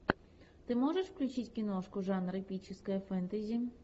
ты можешь включить киношку жанр эпическое фэнтези